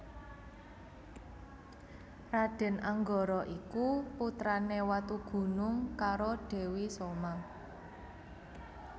Raden Anggara iku putrane Watugunung karo Dewi Soma